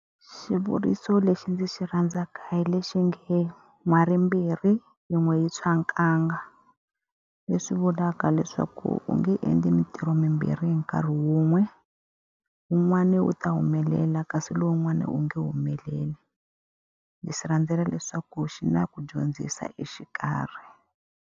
Xivuriso lexi ndzi xi rhandzaka hi lexi nge, n'wari mbirhi yin'we yi tshwa nkanga. Leswi vulaka leswaku u nge endli mintirho mimbirhi hi nkarhi wun'we, wun'wani wu ta humelela kasi lowun'wana wu nge humeleli. Ni xi rhandzela leswaku xi na ku dyondzisa exikarhi.